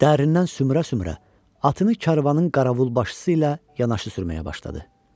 dərindən sümürə-sümürə atını karvanın qaravulbaşısı ilə yanaşı sürməyə başladı.